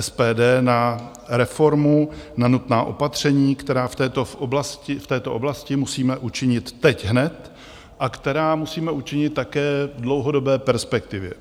SPD na reformu, na nutná opatření, která v této oblasti musíme učinit teď hned a která musíme učinit také v dlouhodobé perspektivě.